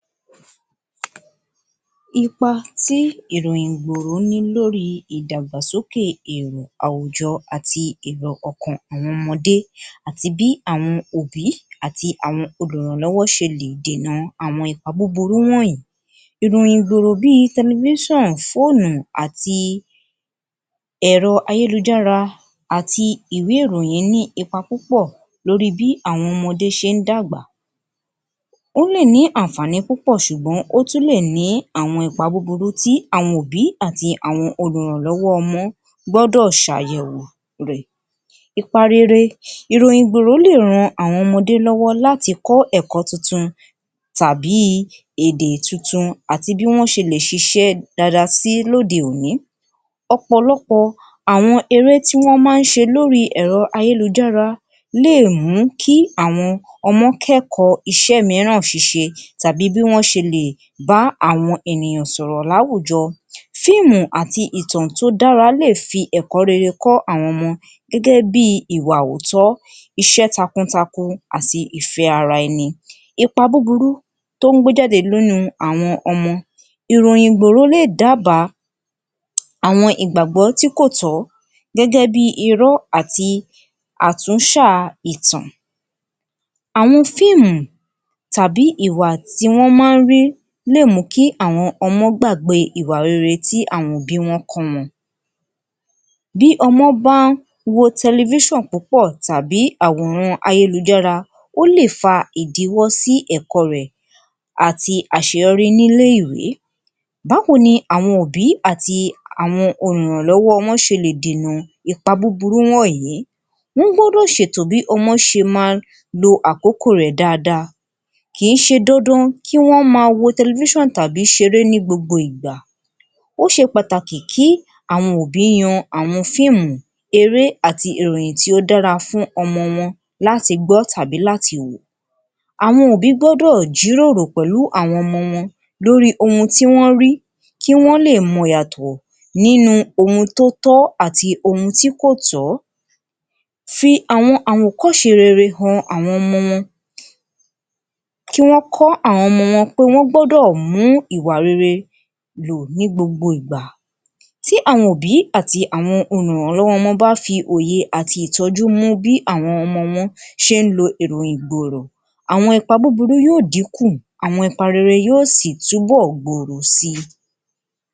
Ipa tí ìròyìn ìgbòró ní lórí ìdàgbàsókè èrò àwùjọ àti èro ọkàn àwọn ọmọdé àti bí àwọn òbí àti àwọn olùrànlọ́wọ́ ṣe lè dìnà àwọn ipa búburú wọ̀nyìí ìròyìn ìgbòho bí fóònù àti èrọ ayélujára àti ìwé ìròyìn ní ipa púpọ̀ lórí bí àwọn ọmọdé ṣe ń dàgbà, ó lè ní àǹfààní púpọ̀ àmọ́ ó tún lè ní àwọn ipa búburú tí àwọn òbí àti àwọn olùrànlọ́wọ́ gbọ́dọ̀ ṣe àyẹ̀wò rẹ̀. Ipa rere iroyin ìgbòho lè ràn àwọn ọmọdé lọ́wọ́ láti kó ẹ̀kọ́ tuntun tàbí èdè tuntun àti bí wọ́n ṣe lè ṣiṣẹ́ dada sí lóde òní. Ọ̀pọ̀lọpọ̀ àwọn eré tí wọ́n máa ń ṣe lórí èrọ ayélujára lè mú kí àwọn ọmọ kẹ́kọ̀ọ́ iṣẹ́ mìíràn ṣíṣe tàbí bí wọ́n ṣẹlẹ̀ bá àwọn ènìyàn sọ̀rọ̀ ní àwùjọ. Fíìmù àti ìtàn tí ó dára lè fi ẹ̀kọ́ rere kọ́ àwọn ọmọ gẹ́gẹ́ bí ìwà òótọ́, iṣẹ́ takun takun àti ìfẹ́ ara ẹni. Ipa búburú tí ó ń gbé jáde nínú àwọn ọmọ ìròyìn ìgbòho lè dàáàba àwọn ìgbàgbọ́ tí kò tọ̀ ọ́ gẹ́gẹ́ bí irọ́ àti àtúnṣà àwọn fíìmù tàbí ìwà tí wọ́n máa ń rí lè mú kí àwọn ọmọ gbàgbé ìwà rere tí àwọn òbí wọn kó wọn. Bí ọmọ bá wọ púpọ̀ tàbí àwòrán ayélujára ó lè fa ìdíwọ́ sí ẹ̀kọ́ rẹ̀ àti àṣeyọrí ní iléèwé. Báwo ni àwọn òbí àti àwọn olùrànlọ́wọ́ ọmọ ṣe lè dìnà ipa búburú wọ̀nyìí, wọ́n gbọ́dọ̀ ṣe ètò bí ọmọ ṣe ma lo àkókò rẹ̀ dáadáa. Kì í ṣe dandan kí wọ́n ma wo tàbí ṣe eré ní gbogbo ìgbà. Ó ṣe pàtàkì kí àwọn òbí yan àwọn fíìmù eré àti ìròyìn tí ó dára fún ọmọ wọn láti gbọ́ tàbí láti wò. Àwọn gbọ́dọ̀ jíròrò pẹ̀lú àwọn ọmọ wọn lórí ohun tí wọ́n rí kí wọ́n lè mọ ìyàtọ̀ nínú ohun tí ó tọ́ àti ohun tí kò tọ́. Fi àwọn àwòkọ́ṣe han àwọn ọmọ wọn kí wọ́n kọ́ àwọn ọmọ wọn pé wọ́n gbọ́dọ̀ mú ìwà rere lò ní gbogbo ìgbà tí àwọn òbí àti àwọn olùrànlọ́wọ́ bá fi òye àti ìtọ́jú mú bí àwọn ọmọ wọn ṣe ń lo ìròyìn ìgbòho, àwọn ipa búburú yóò díkùn àwọn ipa rere yóò sì túnbọ̀ gbòòrò si